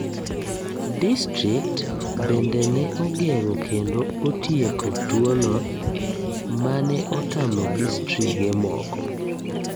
Distrikt bende ne ogengo kendo otieko tuo no ,mane otamo distrige moko